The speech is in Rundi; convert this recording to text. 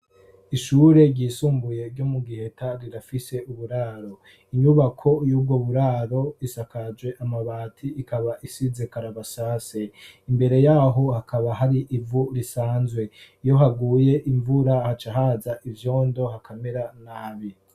Ishure ryisumbuye ryo mu Giheta rirafise uburaro. Inyubako y'ubwo buraro isakajwe amabati, ikaba isize karabasase. Imbere yaho hakaba hari ivu rusanzwe. Iyo haguye imvura haca haza ivyondo hakamera nabi.